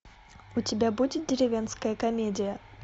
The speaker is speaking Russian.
у тебя будет деревенская комедия